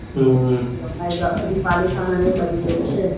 હમ આ બાજુ પાલિથાના ને એ બાજુ જાઉં છે.